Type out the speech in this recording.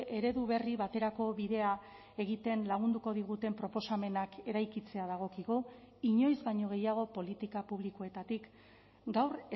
eredu berri baterako bidea egiten lagunduko diguten proposamenak eraikitzea dagokigu inoiz baino gehiago politika publikoetatik gaur